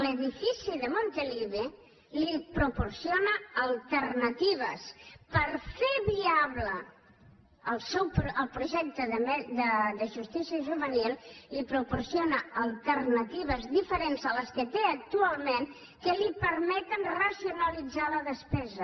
l’edifici de montilivi li proporciona alternatives per fer viable el projecte de justícia juvenil li proporciona alternatives diferents de les que té actualment i que li permeten racionalitzar la despesa